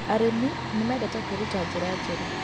Arĩmĩ nĩmendete kwĩrũta nĩra njerũ